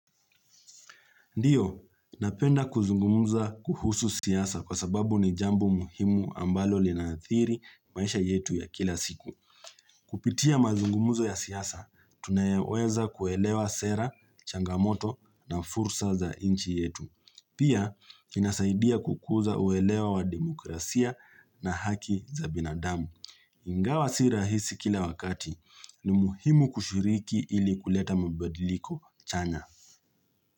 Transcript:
Ndiyo, napenda kuzungumuza kuhusu siasa kwa sababu ni jambo muhimu ambalo linaathiri maisha yetu ya kila siku. Kupitia mazungumuzo ya siasa, tunayeweza kuelewa sera, changamoto na fursa za inchi yetu. Pia, inasaidia kukuza uelewa wa demokrasia na haki za binadamu. Ingawa si rahisi kila wakati ni muhimu kushiriki ili kuleta mabadiliko chanya.